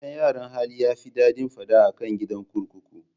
Gidan yaran hali yafi daɗin fada akan gida kurkuku